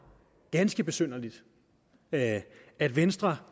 ganske besynderligt at at venstre